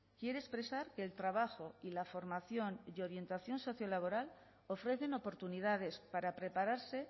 quiere expresar que el trabajo y la formación y orientación sociolaboral ofrecen oportunidades para prepararse